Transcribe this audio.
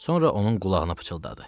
Sonra onun qulağına pıçıldadı.